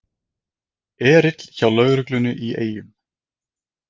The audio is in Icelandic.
Erill hjá lögreglunni í Eyjum